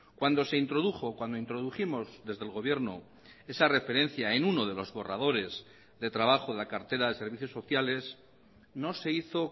cuando se introdujo cuando introdujimos desde el gobierno esa referencia en uno de los borradores de trabajo de la cartera de servicios sociales no se hizo